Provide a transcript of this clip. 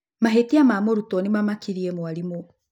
Mahĩtia ma mũrutwo ni maamakirie mwarimũ.